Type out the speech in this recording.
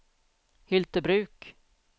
Hyltebruk